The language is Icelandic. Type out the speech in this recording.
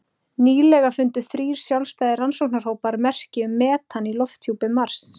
Nýlega fundu þrír sjálfstæðir rannsóknarhópar merki um metan í lofthjúpi Mars.